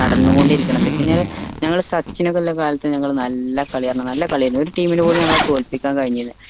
നടന്ന കൊണ്ടിരിക്കുണെ എന്താവെച്ച് കഴിഞ്ഞ ഞങ്ങളെ സച്ചിൻ ഒക്കെ ഉള്ള കാലത്ത് ഞങ്ങൾ നല്ല കളി ആയിരുന്നു നല്ല കളിയായിരുന്നു ഒരു team ന് പോലും ഞങ്ങളെ തോൽപ്പിക്കാൻ കഴിഞ്ഞില്ലാ